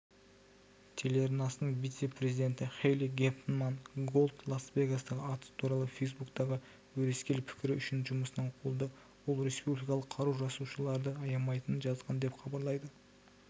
телеарнасының вице-президентіхэйли гефтман-голд лас-вегастағы атыс туралы фейсбуктағы өрескел пікірі үшін жұмысынан қуылды ол республикалық қару жасаушыларды аямайтынын жазған деп хабарлайды